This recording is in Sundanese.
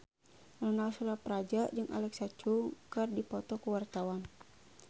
Ronal Surapradja jeung Alexa Chung keur dipoto ku wartawan